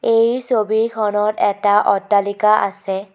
এই ছবিখনত এটা অট্টালিকা আছে।